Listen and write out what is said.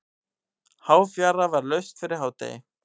Háfjara var laust fyrir hádegi.